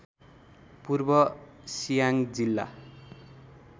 पूर्व सियाङ्ग जिल्ला